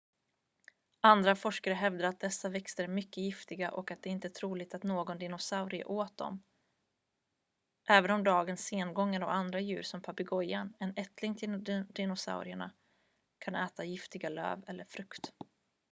andra forskare hävdar att dessa växter är mycket giftiga och att det inte är troligt att någon dinosaurie åt dem även om dagens sengångare och andra djur som papegojan en ättling till dinosaurierna kan äta giftiga löv eller frukt